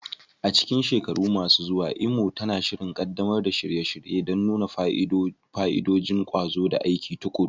A cikin shekaru masu zuwa, Imo tana shirin ƙaddamar da shirye-shirye don nuna fa'idodin ƙwazo da aiki tuƙuru.